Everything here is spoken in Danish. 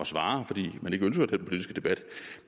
svare fordi man ikke ønsker den politiske debat